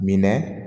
Minɛ